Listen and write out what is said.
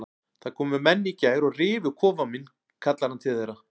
Það komu menn í gær og rifu kofann minn kallar hann til þeirra.